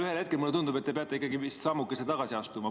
Ühel hetkel, mulle tundub, te peate ikkagi vist sammukese tagasi astuma.